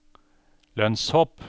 lønnshopp